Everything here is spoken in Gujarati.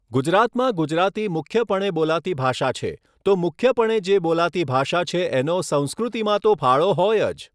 ગુજરાતમાં ગુજરાતી મુખ્યપણે બોલાતી ભાષા છે તો મુખ્યપણે જે બોલાતી ભાષા છે એનો સંસ્કૃતિમાં તો ફાળો હોય જ